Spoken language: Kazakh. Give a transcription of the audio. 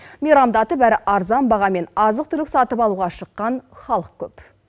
мейрамдатып әрі арзан бағамен азық түлік сатып алуға шыққан халық көп